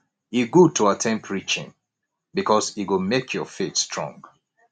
e good to at ten d preaching bikus e go mek yur faith strong